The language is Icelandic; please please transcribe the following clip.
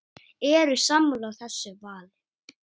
Eru sammála þessu vali?